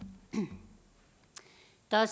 der er